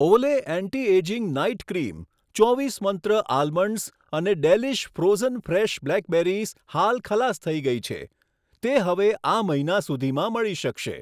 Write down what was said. ઓલે anti ageing night cream, ચોવીસ Mantra almonds અને ડેલીશ ફ્રોઝન ફ્રેશ બ્લેકબેરીઝ હાલ ખલાસ થઈ છે, તે હવે આ મહિના સુધીમાં મળી શકશે.